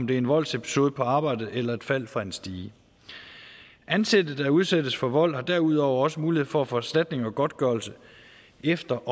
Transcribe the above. det er en voldsepisode på arbejdet eller et fald fra en stige ansatte der udsættes for vold har derudover også mulighed for at få erstatning og godtgørelse efter